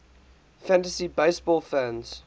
fantasy baseball fans